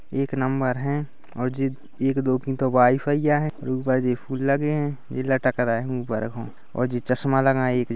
एक नंबर है और जी एक दो की तो वाइफ हैया है यह ऊपर जे फूल लगे है ये लटक रहा है ऊपर हू और जे चष्मा लगा है। --